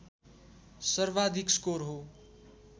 सर्वाधिक स्कोर हो